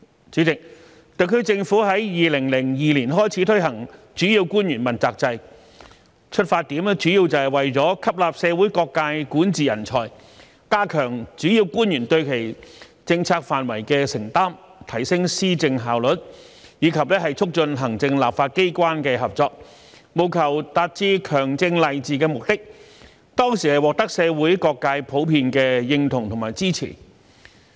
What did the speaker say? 主席，特區政府於2002年開始推行主要官員問責制，出發點主要是為了吸納社會各界管治人才，加強主要官員對其政策範疇的承擔，提升施政效率，以及促進行政立法機關的合作，務求達致強政勵治的目的，當時獲得社會各界的普遍認同和支持。